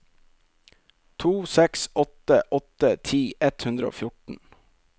to seks åtte åtte ti ett hundre og fjorten